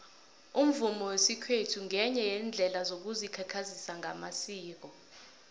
umvumo wesikhethu ngenye yeendlela yokuzikhakhazisa ngamasiko